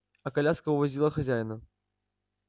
а коляска увозила хозяина